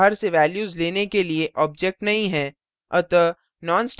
आपके पास बाहर से values लेने के लिए objects नहीं है